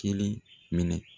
Kelen minɛ.